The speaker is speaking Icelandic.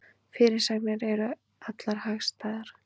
Fyrirsagnir eru allar hagstæðar